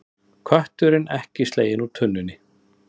Kötturinn ekki sleginn úr tunnunni